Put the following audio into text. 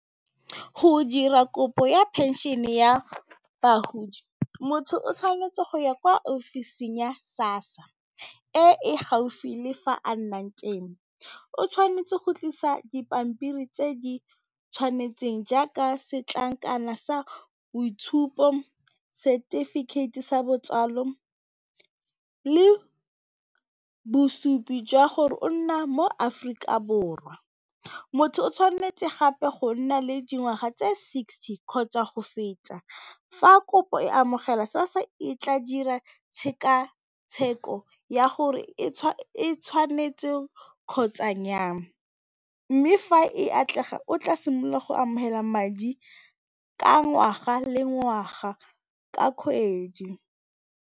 Go dira kopo ya phenšene ya bagodi motho o tshwanetse go ya kwa ofising ya SASSA e e gaufi le fa a nnang teng, o tshwanetse go tlisa dipampiri tse di tshwanetseng, jaaka setlankana sa boitshupo, setefikeiti sa botsalo le bosupi jwa gore o nna mo Aforika Borwa. Motho o tshwanetse gape go nna le dingwaga tse sixty kgotsa go feta, fa kopo e amogela SASSA e tla dira tshekatsheko ya gore e tshwanetse kgotsa nnya kang mme fa e atlega o tla simolola go amogela madi ka ngwaga le, ngwaga ka kgwedi.